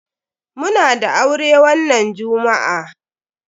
Muna da aure wannan jummu'a.